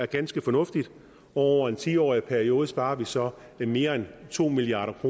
ganske fornuftigt og over en ti årig periode sparer vi så mere end to milliard